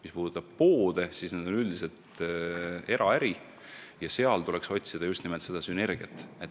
Mis puudutab poode, siis need on üldiselt eraärid ja neil tuleks otsida just nimelt sünergiat.